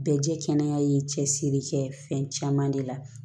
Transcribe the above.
Bɛɛ jɛ kɛnɛ ye cɛsiri kɛ fɛn caman de la